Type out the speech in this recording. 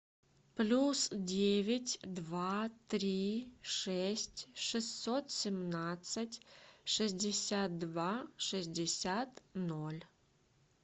плюс девять два три шесть шестьсот семнадцать шестьдесят два шестьдесят ноль